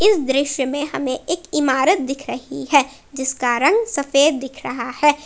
इस दृश्य में हमे एक इमारत दिख रही है जिसका रंग सफेद दिख रहा है।